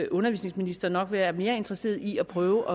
undervisningsminister nok være mere interesseret i at prøve